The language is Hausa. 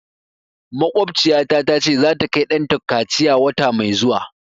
Makwabtaciyata ta ce za ta kai ɗanta kaciya wata mai zuwa